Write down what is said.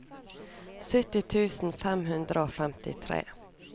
sytti tusen fem hundre og femtitre